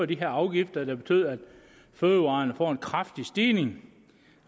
de her afgifter der betyder at fødevarerne får en kraftig stigning